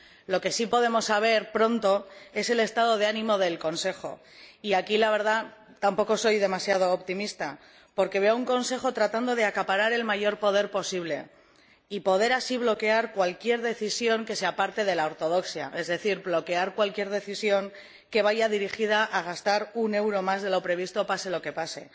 Lo que sí podemos conocer pronto es el estado de ánimo del Consejo y, sobre ello, la verdad, tampoco soy demasiado optimista, porque veo un Consejo que trata de acaparar el mayor poder posible y de poder bloquear así cualquier decisión que se aparte de la ortodoxia, es decir, bloquear cualquier decisión que vaya dirigida a gastar un euro más de lo previsto, pase lo que pase.